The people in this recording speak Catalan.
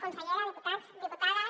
consellera diputats diputades